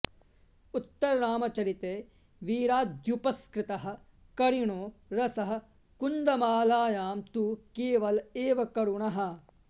उत्तररामचरिते वीराद्युपस्कृतः करिणो रसः कुन्दमालायां तु केवल एव करुणः